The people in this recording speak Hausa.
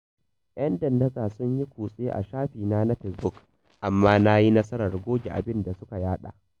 Yan dandatsa sun yi kutse a shafina na Fesbuk, amma dai na yi nasarar goge abin da suka yaɗa